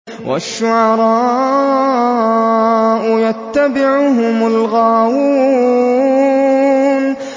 وَالشُّعَرَاءُ يَتَّبِعُهُمُ الْغَاوُونَ